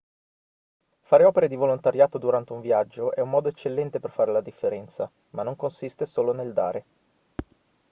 fare opere di volontariato durante un viaggio è un modo eccellente per fare la differenza ma non consiste solo nel dare